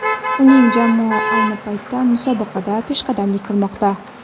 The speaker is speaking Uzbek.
Uning jamoa ayni paytda musobaqada peshqadamlik qilmoqda.